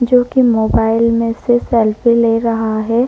जोकि मोबाइल में से सेल्फी ले रहा है।